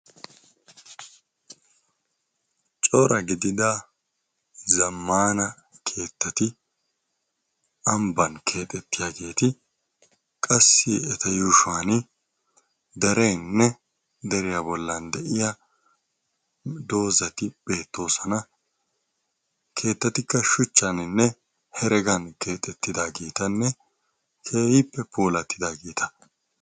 Cora gidia zammana keettati ambba keexxetiyaageti qassi eta yuushshuwaan derenne deriya bllan de'iya doozati beettoosona, keettatikka shuchcane hereggan keexxetidaageti keehippe puulatidaageeta.